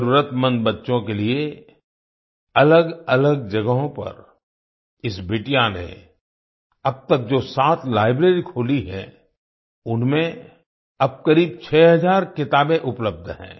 जरूरतमंद बच्चों के लिए अलगअलग जगहों पर इस बिटिया ने अब तक जो सात लाइब्रेरी खोली हैं उनमें अब करीब 6 हजार किताबें उपलब्ध हैं